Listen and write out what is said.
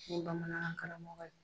N ye bamanankan karamɔgɔ ye.